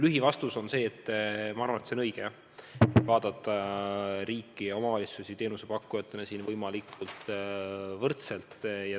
Lühivastus on see: ma arvan, et on tõesti õige vaadata riiki ja omavalitsusi teenusepakkujatena võimalikult ühtmoodi.